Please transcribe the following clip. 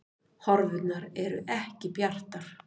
Horfurnar eru ekki bjartar